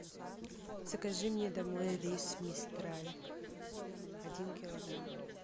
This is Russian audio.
закажи мне домой рис мистраль один килограмм